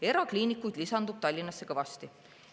Erakliinikuid lisandub Tallinnasse kõvasti.